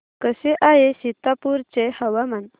कसे आहे सीतापुर चे हवामान